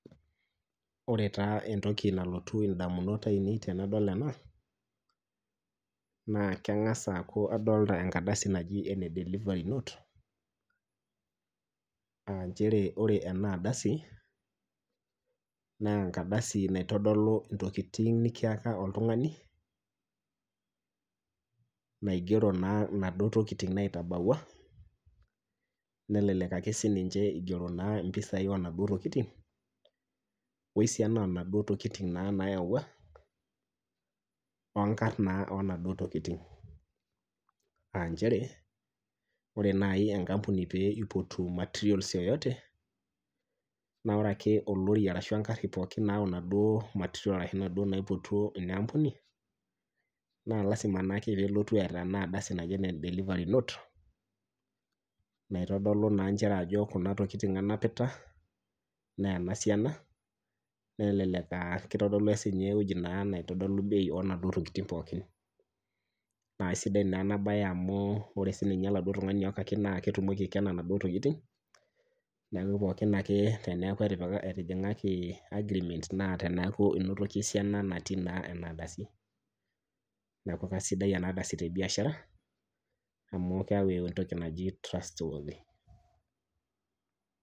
Oree taa entoki nalotu indaminot ainei tenadol enaa naa kangas aku kadolita enkardasi nagi (delivery note)AA chere ore enaa ardasi na engardasi, naitodolu intokitin nikiyaka oltungani, naigero naduo tokitin naitabawua, nelelek igero impisai onaduoo tokitin, wesiana onana tokitin nayawuaongarn naa onaduoo tokitin, aa chere ore enaambuni pee ipotu (materials yoyote)naa ore ake olori ashu engari, pookin mayauu onaduoo (materials) naipotutuo inampuni,(lazima) pee elotu woina ardasi naji (delivery note)naitodolu naa inchere ajo kuna tokitin anapita, enasiana, kelelek itodolu bei onaduoo tokitin pookin naa sidai enabae, amu ore sininye oltungani oyakaki naa ketumoki aikena onaduoo tokitin neeku pookin ake peeeku etijingaki (agreement) naa teneyiolouni esiana onaduoo tokitin nayawuaki neeku kesidai enaa ardasi tebiashara amu keyau entoki naji (trustworthy)